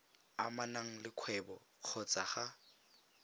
amanang le kgwebo kgotsa ga